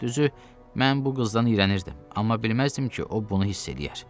Düzü, mən bu qızdan iyrənirdim, amma bilməzdim ki, o bunu hiss eləyər.